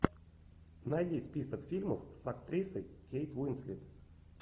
найди список фильмов с актрисой кейт уинслет